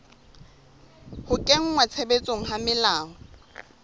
ho kenngwa tshebetsong ha melao